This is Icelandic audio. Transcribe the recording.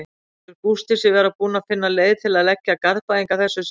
Telur Gústi sig vera búinn að finna leið til að leggja Garðbæinga að þessu sinni?